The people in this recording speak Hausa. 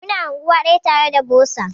Mu na anguwa daya tare da bosa.